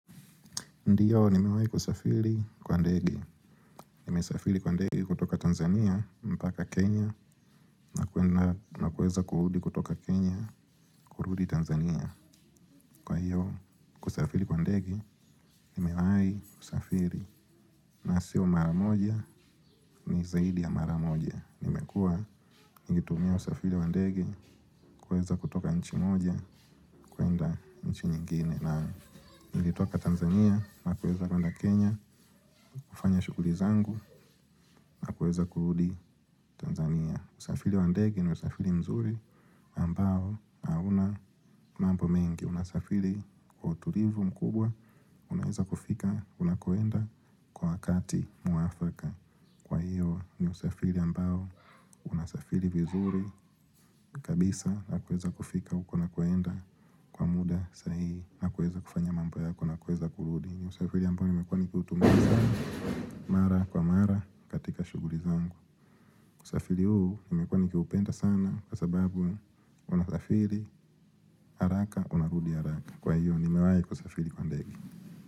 Ndiyo, nimewai kusafiri kwa ndege. Nimesafiri kwa ndegie kutoka Tanzania, mpaka Kenya, na kuweza kurudi kutoka Kenya kurudi Tanzania. Kwa hiyo, kusafiri kwa ndege, nimewahi kusafiri. Na siyo mara moja, ni zaidi ya mara moja. Nimekuwa, nikitumia kusafiri kwa ndege, kuweza kutoka nchi moja, kwenda nchi nyingine. Na nilitoka Tanzania na kuweza kwenda Kenya. Kufanya shughuli zangu na kuweza kurudi Tanzania. Usafili wa ndege ni usafrli mzuri na ambao hauna mambo mengi unasafiri kwa utulivu mkubwa. Unaweza kufika, unakoenda kwa wakati mwafaka kwa hiyo ni usafiri ambao unasafiri vizuri. Kabisa na kuweza kufika huko unakoenda kwa muda sahihi na kuweza kufanya mambo yako na kuweza kurudi. Ni usafiri ambao nimekuwa nikiutumia sana mara kwa mara katika shughuli zangu. Usafiri huu nimekuwa nikiupenda sana kwa sababu unasafiri haraka, unarudi haraka. Kwa hiyo nimewahi kusafiri kwa ndege.